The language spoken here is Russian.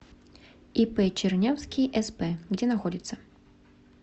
ип чернявский сп где находится